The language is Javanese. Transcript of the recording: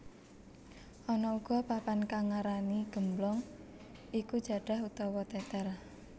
Ana uga papan kang ngarani gemblong iku jadah utawa tetel